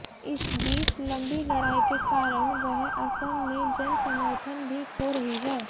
इस बीच लंबी लड़ाई के कारण वह असम में जन समर्थन भी खो रही है